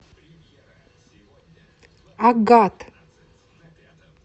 агат